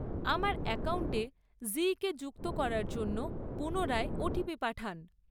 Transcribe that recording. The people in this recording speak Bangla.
আমার অ্যাকাউন্টে জীকে যুক্ত করার জন্য পুনরায় ওটিপি পাঠান।